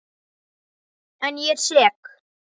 En ég er sek.